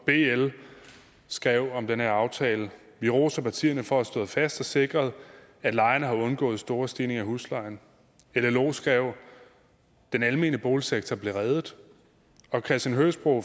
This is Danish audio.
bl skrev om den her aftale vi roser partierne for at have stået fast og sikret at lejerne har undgået store stigninger i huslejen llo skrev den almene boligsektor blev reddet og christian høgsbro